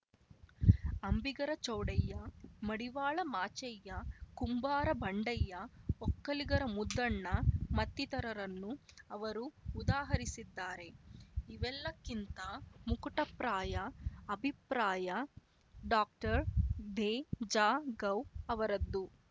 ಅಂಬಿಗರ ಚೌಡಯ್ಯ ಮಡಿವಾಳ ಮಾಚಯ್ಯ ಕುಂಬಾರಬಂಡಯ್ಯ ಒಕ್ಕಲಿಗರ ಮುದ್ದಣ್ಣ ಮತ್ತಿತರರನ್ನು ಅವರು ಉದಾಹರಿಸಿದ್ದಾರೆ ಇವೆಲ್ಲಕ್ಕಿಂತ ಮುಕುಟಪ್ರಾಯ ಅಭಿಪ್ರಾಯ ಡಾಕ್ಟರ್ದೇಜಗೌ ಅವರದ್ದು